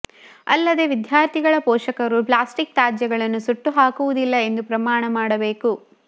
ಅಲ್ಲದೆ ವಿದ್ಯಾರ್ಥಿಗಳ ಪೋಷಕರು ಪ್ಲಾಸ್ಟಿಕ್ ತ್ಯಾಜ್ಯಗಳನ್ನ ಸುಟ್ಟುಹಾಕುವುದಿಲ್ಲ ಎಂದು ಪ್ರಮಾಣ ಮಾಡಬೇಕು